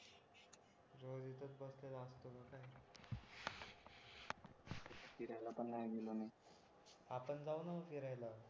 फिरायला पण नाही गेलो मी आपण जाऊ ना मग फिरायला